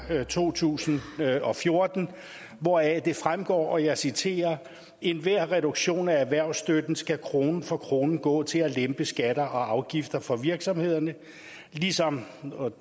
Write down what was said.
to tusind og fjorten hvoraf det fremgår og jeg citerer enhver reduktion af erhvervsstøtten skal krone for krone gå til at lempe skatter og afgifter for virksomhederne